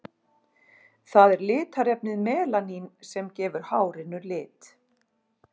Það er litarefnið melanín sem gefur hárinu lit.